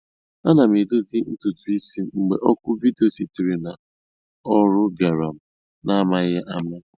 Ana m edozi ntutu isi m, mgbe oku vidio sitere n’ọrụ bịara m n’amaghị ama